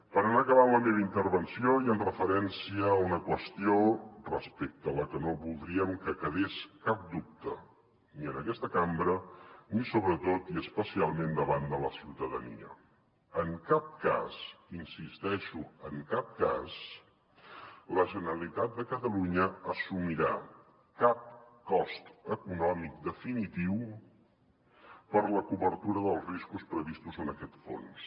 per anar acabant la meva intervenció i en referència a una qüestió respecte a la que no voldríem que quedés cap dubte ni en aquesta cambra ni sobretot i especialment davant de la ciutadania en cap cas hi insisteixo en cap cas la generalitat de catalunya assumirà cap cost econòmic definitiu per la cobertura dels riscos previstos en aquest fons